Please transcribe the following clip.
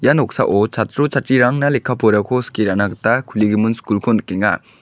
ia noksao chatro chatrirangna lekka porako skie ra·na gita kuligimin skulko nikenga.